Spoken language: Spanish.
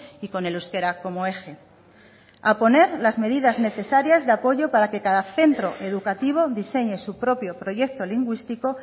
y con el euskera como eje a poner las medidas necesarias de apoyo para que cada centro educativo diseñe su propio proyecto lingüístico